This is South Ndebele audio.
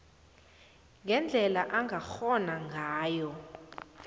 ngendlela angakghona ngayo